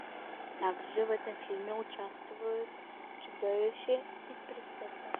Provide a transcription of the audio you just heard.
также в этом фильме участвуют чудовище и принцесса